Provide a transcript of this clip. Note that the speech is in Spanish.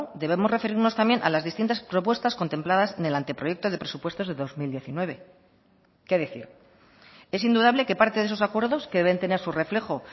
debemos referirnos también a las distintas propuestas contempladas en el anteproyecto de presupuestos de dos mil diecinueve qué decir es indudable que parte de esos acuerdos que deben tener su reflejo